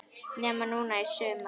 Nema núna í sumar.